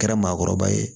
Kɛra maakɔrɔba ye